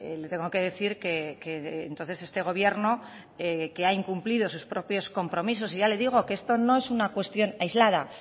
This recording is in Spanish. le tengo que decir que entonces este gobierno que ha incumplido sus propios compromisos y ya le digo que esto no es una cuestión aislada